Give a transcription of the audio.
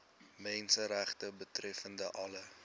menseregte betreffende alle